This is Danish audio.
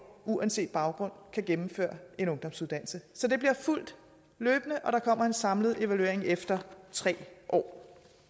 uanset baggrund kan gennemføre en ungdomsuddannelse så det bliver fulgt løbende og der kommer en samlet evaluering efter tre år